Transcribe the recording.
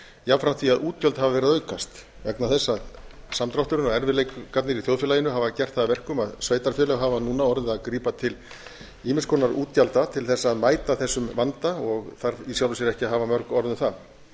jafnframt því að útgjöld hafa verið að aukast vegna þess að samdrátturinn og erfiðleikarnir í þjóðfélaginu hafa gert það að verkum að sveitarfélög hafa núna orðið að grípa til ýmiss konar útgjalda til þess að mæta þessum vanda og þarf í sjálfu sér ekki að hafa mörg orð um það ég